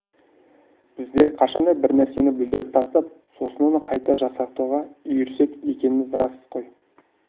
біздер қашан да бір нәрсені бүлдіріп тастап сосын оны қайта жасақтауға үйірсек екеніміз рас қой